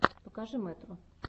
покажи мэтро